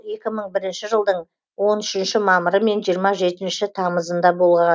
екі мың бірінші жылдың он үшінші мамыры мен жиырма жетінші тамызында